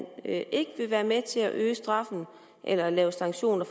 ikke vil være med til at øge straffen eller lave sanktioner